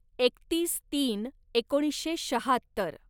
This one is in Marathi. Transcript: एकतीस तीन एकोणीसशे शहात्तर